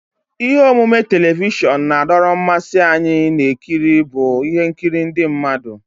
Ihe omume telivishọn na-adọrọ mmasị anyị na-ekiri bụ ihe nkiri ndị mmadụ.